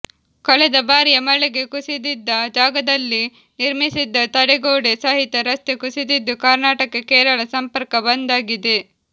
ಕಳೆದ ಬಾರಿಯ ಮಳೆಗೆ ಕುಸಿದಿದ್ದ ಜಾಗದಲ್ಲಿ ನಿರ್ಮಿಸಿದ್ದ ತಡೆಗೋಡೆ ಸಹಿತ ರಸ್ತೆ ಕುಸಿದಿದ್ದು ಕರ್ನಾಟಕ ಕೇರಳ ಸಂಪರ್ಕ ಬಂದ್ ಆಗಿದೆ